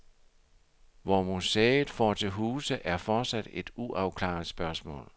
Hvor museet får til huse er fortsat et uafklaret spørgsmål.